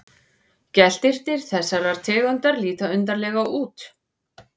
Geltirnir þessarar tegundar líta undarlega út.